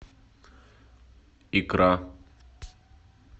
икра